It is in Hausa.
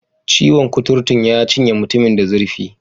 Ciwon' kuturun ya cinye mutumin da zurfi.